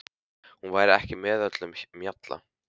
Hún væri ekki með öllum mjalla.